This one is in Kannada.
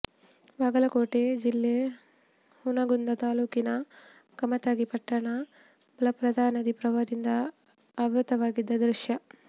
ಬಾಗಲಕೋಟೆ ಜಿಲ್ಲೆ ಹುನಗುಂದ ತಾಲ್ಲೂಕಿನ ಕಮತಗಿ ಪಟ್ಟಣ ಮಲಪ್ರಭಾ ನದಿ ಪ್ರವಾಹದಿಂದ ಆವೃತವಾಗಿದ್ದ ದೃಶ್ಯ